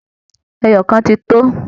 Ẹyọ kan ti tó